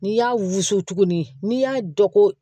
N'i y'a wusu tuguni n'i y'a dɔn ko